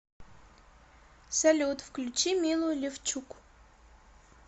салют включи милу левчук